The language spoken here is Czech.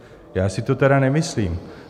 Já si to tedy nemyslím.